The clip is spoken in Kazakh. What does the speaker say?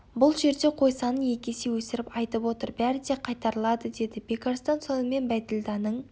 бұл жерде қой санын екі есе өсіріп айтып отыр бәрі де қайтарылады деді бекарыстан сонымен бәйділданың